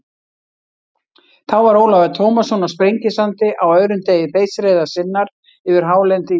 Þá var Ólafur Tómasson á Sprengisandi á öðrum degi þeysireiðar sinnar yfir hálendi Íslands.